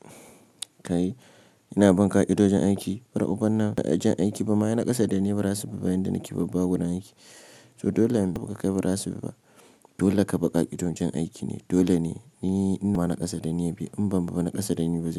Kai, ina bun ƙa'iɗojin aiki, bura uban nan da jan aiki ba ma ai naƙasa dani ba rasa bi ba yanda nike babba a gurin na aiki. So dole abu ka kai ba rasa bibba, dole ka bunƙa kiɗo jan aiki ne, dole ne. Ni ina ma naƙasa dani ya bi, in ban ba naƙasa dani ba zai.